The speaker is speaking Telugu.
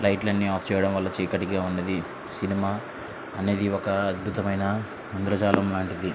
లైట్ లని ఆఫ్ చేయడం వల్ల చీకటిగా ఉన్నది. సినిమా అనేది ఒక అద్భుతమైన ఇంద్రజాలం లాంటిది.